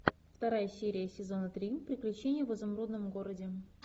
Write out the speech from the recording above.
вторая серия сезона три приключения в изумрудном городе